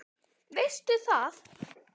Veistu það?